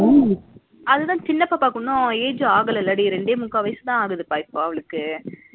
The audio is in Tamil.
அதுதா சின்ன பாப்பாக்கு இன்னும் age ஆகுலல டி ரெண்டே மூக்கா வயசுதா ஆகுது இப்ப அவளுக்கு